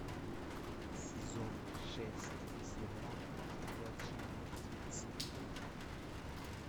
сезон шесть сериал ходячие мертвецы